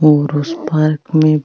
और उस पार्क में --